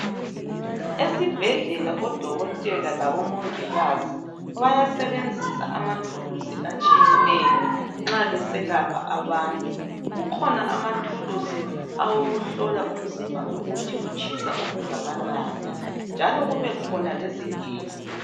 Esibhedlela odokotela labomongikazi bayasebenzisa amathuluzi atshiyeneyo nxa beselapha abantu kukhona amathuluzi awokuhlola umzimba ukuthi utshisa okungakanani njalo kube khona lezigelo.